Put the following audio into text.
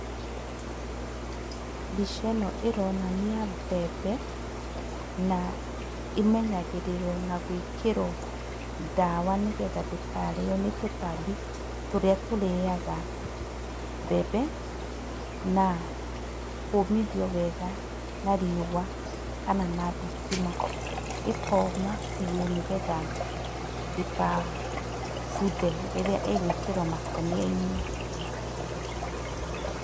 Mbica ĩno ĩronania mbembe, na imenyagĩrĩrwo na gũĩkĩrwo ndawa nĩgetha ndĩkarĩyo nĩ tũtambi tũrĩa tũrĩyaga mbembe, na kũũmithio wega na riũa kana na thitima. Ikoma biũ nĩgetha ndĩkabuthe rĩrĩa ĩgwĩkĩrwo makũnia-inĩ.